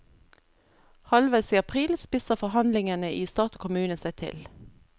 Halvveis i april spisser forhandlingene i stat og kommune seg til.